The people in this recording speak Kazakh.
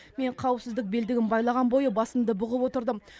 мен қауіпсіздік белдігін байланған бойы басымды бұғып отырдым